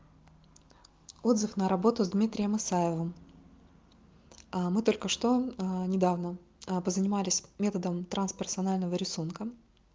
отзыв на работу с дмитрием исаевым а мы только что недавно позанимались методом трансперсональное рисунком